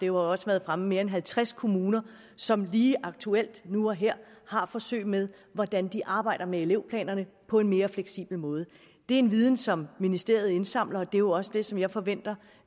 jo også været fremme mere end halvtreds kommuner som lige aktuelt nu og her har forsøg med hvordan de arbejder med elevplanerne på en mere fleksibel måde det er en viden som ministeriet indsamler og det er jo også det som jeg forventer